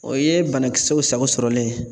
O ye banakisɛw sago sɔrɔlen ye.